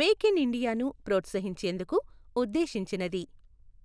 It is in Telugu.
మేక్ ఇన్ ఇండియాను ప్రోత్సహించేందుకు ఉద్దేశించినది.